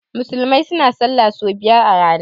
Musulmai suna sallah so biyar a rana.